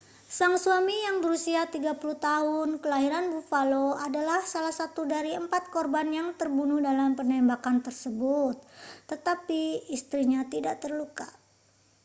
sang suami yang berusia 30 tahun kelahiran buffalo adalah salah satu dari empat korban yang terbunuh dalam penembakan tersebut tetapi istrinya tidak terluka